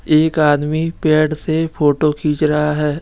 एक आदमी पैड से फोटो खींच रहा है।